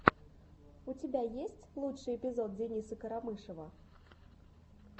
у тебя есть лучший эпизод дениса карамышева